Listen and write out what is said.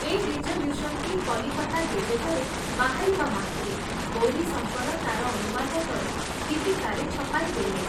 ଏ ରିଜଲ୍ୟୁଶନଟି କଲିକତା ଗେଜେଟରେ ବାହାରିବା ମାତ୍ରେ ଗୌରୀଶଙ୍କର ତାର ଅନୁବାଦ କରି ଦୀପିକାରେ ଛପାଇ ଦେଲେ ।